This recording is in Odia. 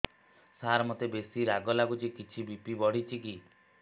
ସାର ମୋତେ ବେସି ରାଗ ଲାଗୁଚି କିଛି ବି.ପି ବଢ଼ିଚି କି